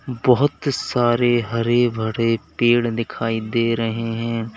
बहुत सारे हरे भरे पेड़ दिखाई दे रहे हैं।